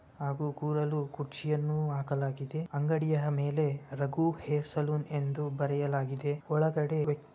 ಹಾಗೂ ಕೂರಲು ಕುರ್ಚಿಯನ್ನು ಹಾಕಲಾಗಿದೆ ಅಂಗಡಿಯ ಮೇಲೆ ರಘು ಹೇರ್ ಸಲೂನ್ ಎಂದು ಬರೆಯಲಾಗಿದೆ ಒಳಗಡ.